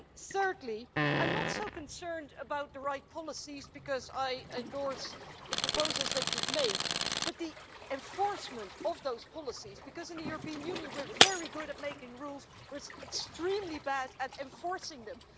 Thirdly, I'm not so concerned about the right policies because I endorse the proposals that you've made but the enforcement of those policies, because in the European Union we're very good at making rules but extremely bad at enforcing them.